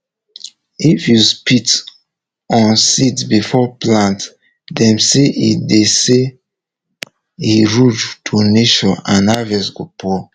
if you spit on seeds before plant dem say e dem say e rude to nature and harvest go poor